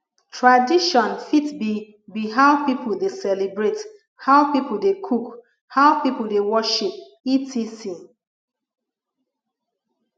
tradition fit be be how pipo de celebrate how pipo de cook how pipo de worship etc